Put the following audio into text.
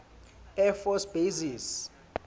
air force bases